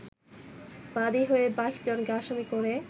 বাদী হয়ে ২২ জনকে আসামি করে